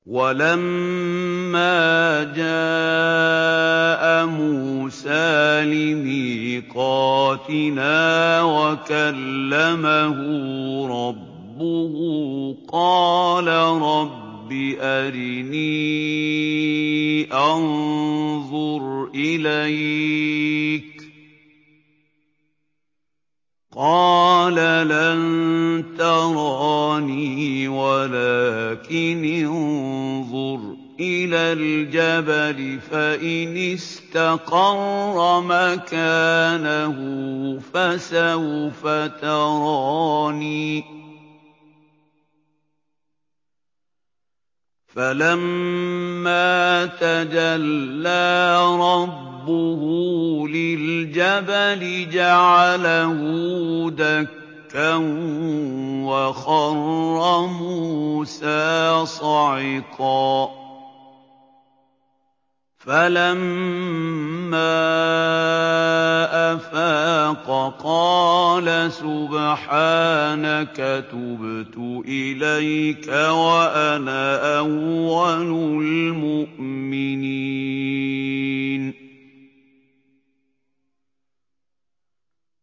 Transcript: وَلَمَّا جَاءَ مُوسَىٰ لِمِيقَاتِنَا وَكَلَّمَهُ رَبُّهُ قَالَ رَبِّ أَرِنِي أَنظُرْ إِلَيْكَ ۚ قَالَ لَن تَرَانِي وَلَٰكِنِ انظُرْ إِلَى الْجَبَلِ فَإِنِ اسْتَقَرَّ مَكَانَهُ فَسَوْفَ تَرَانِي ۚ فَلَمَّا تَجَلَّىٰ رَبُّهُ لِلْجَبَلِ جَعَلَهُ دَكًّا وَخَرَّ مُوسَىٰ صَعِقًا ۚ فَلَمَّا أَفَاقَ قَالَ سُبْحَانَكَ تُبْتُ إِلَيْكَ وَأَنَا أَوَّلُ الْمُؤْمِنِينَ